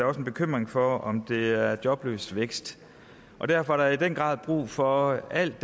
også en bekymring for og om det er jobløs vækst derfor er der i den grad brug for alt